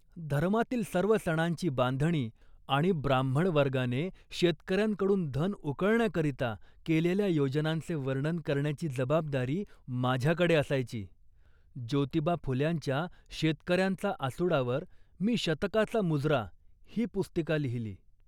धर्मातील सर्व सणांची बांधणी आणि ब्राह्मणवर्गाने शेतकऱ्यांकडून धन उकळण्याकरिता केलेल्या योजनांचे वर्णन करण्याची जबाबदारी माझ्याकडे असायची. ज्योतिबा फुल्यांच्या 'शेतकऱ्यांचा असूडा'वर मी 'शतकाचा मुजरा' ही पुस्तिका लिहिली